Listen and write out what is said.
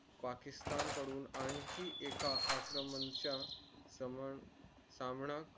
पाकिस्तान कडून आणखी एक आक्रमणांचा सामना